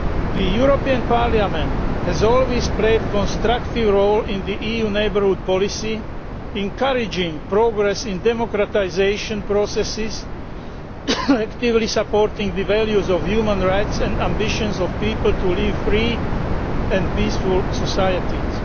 The European Parliament has always played a constructive role in the EU neighbourhood policy encouraging progress in democratisation processes and actively supporting the values of human rights and the ambitions of people to live in free and peaceful societies.